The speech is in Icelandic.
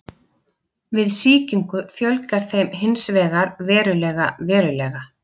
Við sýkingu fjölgar þeim hins vegar verulega verulega.